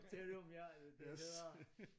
Selvom jeg det hedder